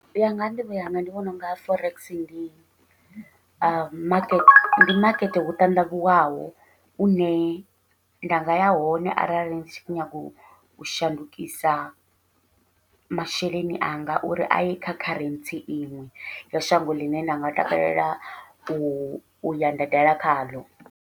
Uya nga nḓivho yanga, ndi vhona unga forex ndi makete makete u ṱandavhuwaho une nda nga ya hone arali ndi tshi kho nyaga u shandukisa masheleni anga, uri aye kha kharentsi iṅwe ya shango ḽine nda nga takalela uya nda dala khaḽo.